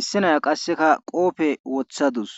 issi nayiya qassekka qoofe woththadus.